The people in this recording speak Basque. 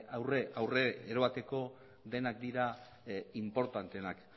aurrera eramateko denak dira inportanteenak